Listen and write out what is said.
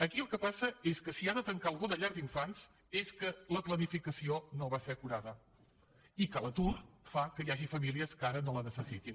aquí el que passa és que si ha de tancar alguna llar d’infants és que la planificació no va ser acurada i que l’atur fa que hi hagi famílies que ara no les necessitin